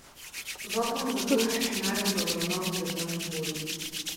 Zakon zato ni primeren za obravnavo v državnem zboru.